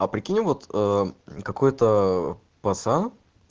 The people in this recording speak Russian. а прикинь вот какой-то пацан